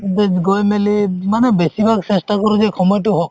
গৈ মেলি মানে বেচিভাগ চেষ্টা কৰো যে সময়তো